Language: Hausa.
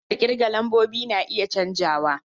Hanyar kirga lambobi na iya canzawa.